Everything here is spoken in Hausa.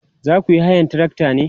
zakuyi hayan trakta ne?